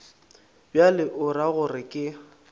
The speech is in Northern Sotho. bjalo o ra gore ke